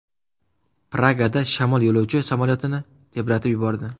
Pragada shamol yo‘lovchi samolyotini tebratib yubordi.